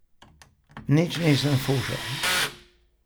Nič nisem fušal.